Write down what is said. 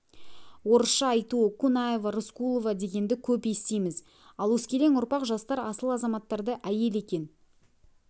орысша айтуы кунаева рыскулова дегенді көп естиіміз ал өскелең ұрпақ жастар асыл азаматтарды әйел екен